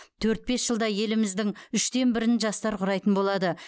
төрт бес жылда еліміздің үштен бірін жастар құрайтын болады